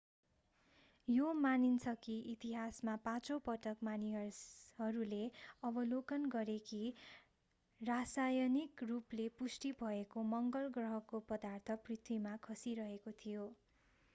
यो मानिन्छ कि इतिहासमा पाँचौँ पटक मानिसहरूले अवलोकन गरे कि रासायनिक रूपले पुष्टि भएको मङ्गल ग्रहको पदार्थ पृथ्वीमा खसिरहेको थियो